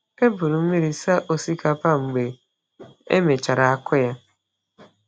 Eburu m mmiri saa osikapa mgbe e mechara akụ ya.